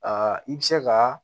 Aa i bɛ se ka